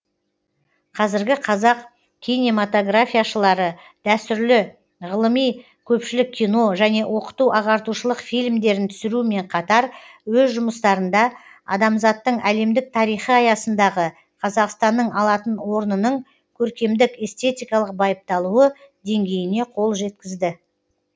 қазіргі қазақ кинематографияшылары дәстүрлі ғылыми көпшілік кино және оқыту ағартушылық фильмдерін түсірумен қатар өз жұмыстарында адамзаттың әлемдік тарихы аясындағы қазақстанның алатын орнының көркемдік эстетикалық байыпталуы деңгейіне қол жеткізді